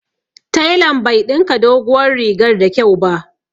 Telan bai ɗinka doguwar rigar da kyau ba